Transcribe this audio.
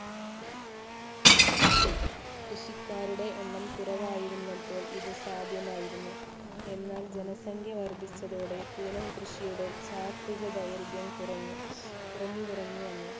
കൃഷിക്കാരുടെ എണ്ണം കുറവായിരുന്നപ്പോൾ ഇത് സാധ്യമായിരുന്നു. എന്നാൽ ജനസംഖ്യ വർദ്ധിച്ചതോടെ പൂനം കൃഷിയുടെ ശാസ്ത്രീയ ദൈർഘ്യം കുറഞ്ഞു, കുറഞ്ഞു കുറഞ്ഞു വന്നു.